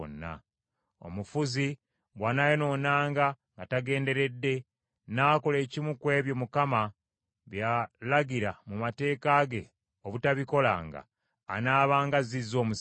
“ ‘Omufuzi bw’anaayonoonanga nga tagenderedde n’akola ekimu ku ebyo Mukama bye yalagira mu mateeka ge obutabikolanga, anaabanga azzizza omusango.